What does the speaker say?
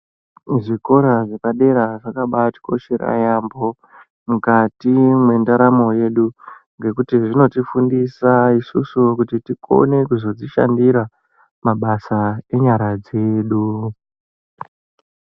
Zvikora zvepadera zvakabatikoshera yambo mukati mendaramo yedu ngekuti zvinotidetsera zvinotifundisa kuti isusu tikone kuzozvishandira mabasa enyara dzedu.